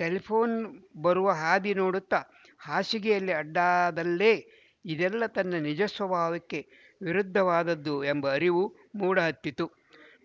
ಟೆಲಿಫೋ ನ್ ಬರುವ ಹಾದಿ ನೋಡುತ್ತ ಹಾಸಿಗೆಯಲ್ಲಿ ಅಡ್ಡವಾದಲ್ಲೇ ಇದೆಲ್ಲ ತನ್ನ ನಿಜ ಸ್ವಭಾವಕ್ಕೆ ವಿರುದ್ಧವಾದದ್ದು ಎಂಬ ಅರಿವು ಮೂಡಹತ್ತಿತು